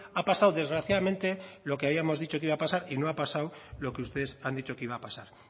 ha pasado desgraciadamente lo que habíamos dicho que iba a pasar y no ha pasado lo que ustedes han dicho que iba a pasar